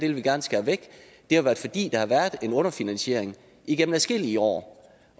vil de gerne skære væk det er fordi der har været en underfinansiering igennem adskillige år